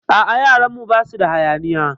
A'a, yaran mu basu da hayaniya.